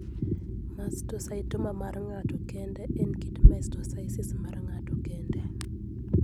Mastocytoma mar ng'ato kende en kit mastocytosis mar ng'ato kende.